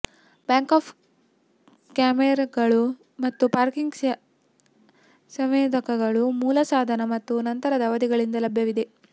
back up ಕ್ಯಾಮೆರಾಗಳು ಮತ್ತು parking ಸಂವೇದಕಗಳು ಮೂಲ ಸಾಧನ ಮತ್ತು ನಂತರದ ಅವಧಿಗಳಿಂದ ಲಭ್ಯವಿವೆ